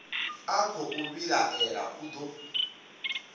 a khou vhilaela u do